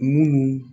Munnu